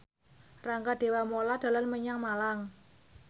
Rangga Dewamoela dolan menyang Malang